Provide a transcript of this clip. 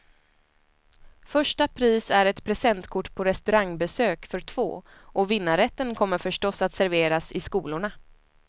Första pris är ett presentkort på restaurangbesök för två, och vinnarrätten kommer förstås att serveras i skolorna.